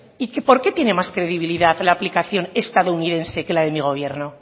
por qué tiene más credibilidad la aplicación estadounidense que la de mi gobierno